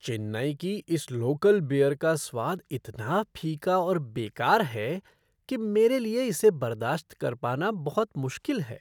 चेन्नई की इस local beer का स्वाद इतना फीका और बेकार है कि मेरे लिए इसे बर्दाश्त कर पाना बहुत मुश्किल है।